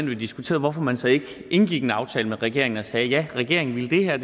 vi har diskuteret hvorfor man så ikke indgik en aftale med regeringen og sagde ja regeringen ville det her